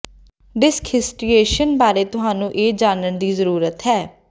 disc ਹਿਸਟਰੀਏਸ਼ਨ ਬਾਰੇ ਤੁਹਾਨੂੰ ਇਹ ਜਾਣਨ ਦੀ ਜ਼ਰੂਰਤ ਹੈ